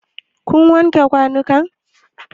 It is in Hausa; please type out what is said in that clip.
Kun wanke kwanun kan?